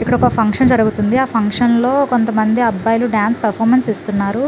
ఇక్కడ ఒక ఫంక్షన్ జరుగుతుంది ఆ ఫంక్షన్ లో కొంతమంది అబ్బాయిలు డాన్ స్ పెర్ఫార్మన్స్ ఇస్తున్నారు